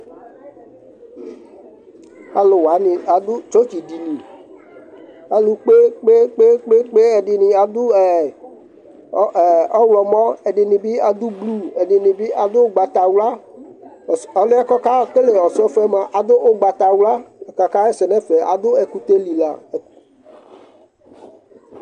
Alʋ wanɩ adʋ tsɔtsɩdini Alʋ kpe-kpe-kpe Ɛdɩnɩ adʋ ɛ ɛ ɔɣlɔmɔ, ɛdɩnɩ bɩ adʋ blu, ɛdɩnɩ bɩ adʋ ʋgbatawla Ɔsɔf ɔlʋ yɛ kʋ ɔkekele ɔsɔfɔ yɛ mʋa, adʋ ʋgbatawla Ɔta la kaɣa ɛsɛ nʋ ɛfɛ, adʋ ɛkʋtɛ li la